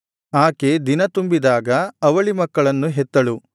ಆಕೆ ದಿನತುಂಬಿದಾಗ ಅವಳಿ ಮಕ್ಕಳನ್ನು ಹೆತ್ತಳು